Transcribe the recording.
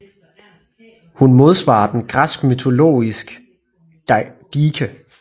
Hun modsvarer den græsk mytologis Dike